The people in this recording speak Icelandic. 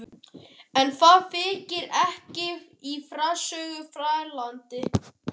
En það þykir ekki í frásögur færandi.